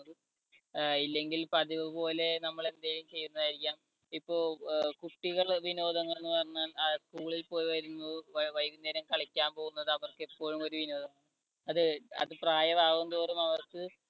അഹ് ഇല്ലെങ്കിൽ പതിവുപോലെ നമ്മൾ എന്തേലും ചെയ്യുന്നതായിരിക്കാം. ഇപ്പോ അഹ് കുട്ടികള് വിനോദം എന്ന് പറഞ്ഞാൽ school പോയി വരുന്നു വൈകുന്നേരം കളിക്കാൻ പോകുന്നത് അവർക്ക് എപ്പോഴും ഒരു വിനോദമാണ്. അതെ അത് പ്രായമാകും തോറും അവർക്ക്